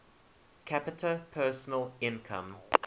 capita personal income